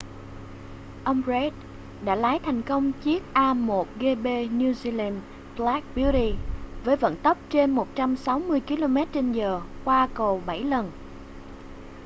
ông reid đã lái thành công chiếc a1gp new zealand black beauty với vận tốc trên 160km/h qua cầu bảy lần